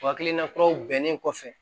O hakilina kuraw bɛnnen kɔfɛ